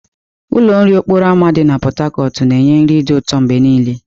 Ụlọ nri n'okporo ámá dị na Pot Tarcot ga-enye nri dị ụtọ mgbe niile.